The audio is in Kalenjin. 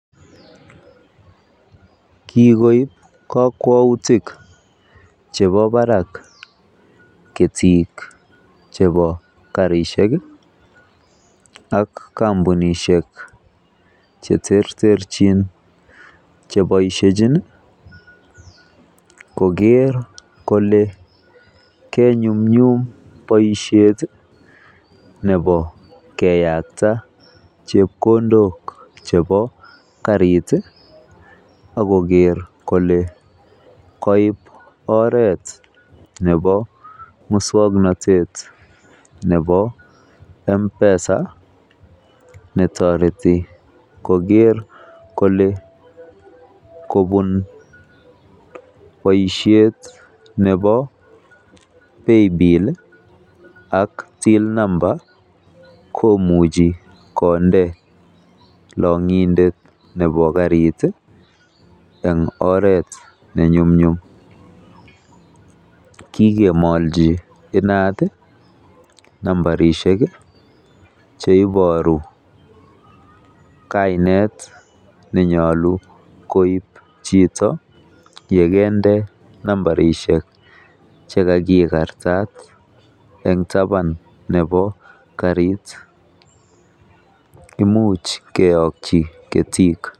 Kigoib kokwoutik chebo barak ketik chebo karishek ak kompunishek che terterchin che boisiechin koger kole kenyumnyum boisiet nebo keyakta chepkondok chebo karit ak koger kole koib oret nebo muswoknatet nebo M-Pesa netoreti koger kole kobun boisiiet nebo paybill ak till number komuchi konde long'indte nebo karit eng oret nenumnyum kigemolchi inat nambarisiek che iboru kainet nenyolu koib chito ye kende nambarisiek che kagikartat en taban nebo karit. Imuch keyoki ketik.